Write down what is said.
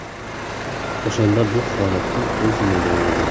O‘shanda bu holatga ko‘z yumilgan edi.